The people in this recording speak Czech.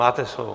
Máte slovo.